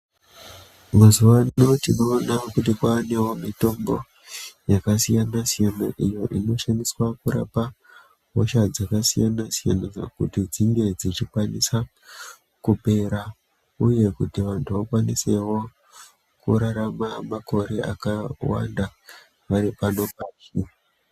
Mazuwano tinoona kuti kwanewo mitombo yakasiyana -siyana iyo inoshandiswa kurapa hosha dzakasiyana -siyana kuti dzinge dzichikwanisa kupera uye kuti vantu vakwanisewo kurarama makore akawanda vari pano pasi.